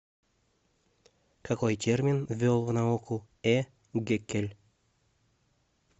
какой термин ввел в науку э геккель